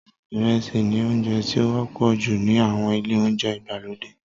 Ìrẹsì ni oúnjẹ tí ó wọ́pọ̀ jù ní àwọn ilé-oúnjẹ ìgbàlódé